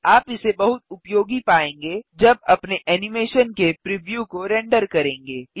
आप इसे बहुत उपयोगी पायेंगे जब अपने एनिमेशन के प्रिव्यू को रेंडर करेंगे